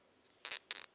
ge kgoro ya tsheko e